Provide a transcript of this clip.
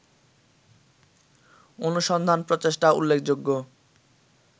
অনুসন্ধান-প্রচেষ্টা উল্লেখযোগ্য